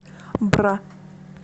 бра